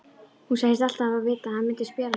Hún segist alltaf hafa vitað að hann myndi spjara sig.